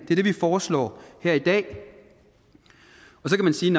vi foreslår her i dag så kan man sige